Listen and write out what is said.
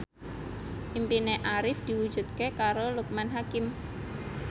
impine Arif diwujudke karo Loekman Hakim